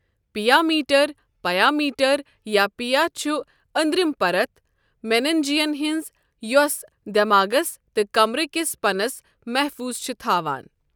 پِیا mater ,pia mater ،یا pia چھ أندرِم پَرت مینَنجیَن ہٕنٛز یۄص دؠماغس تہٕ کَمرٕکِس پَنَس مَحفوٗظ چھ تھاوَن۔